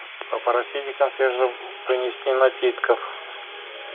попросите консьержа принести напитков